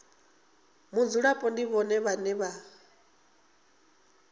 mudzulapo ndi vhone vhane vha